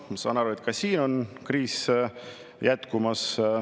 Ma saan aru, et ka siin on kriis jätkumas.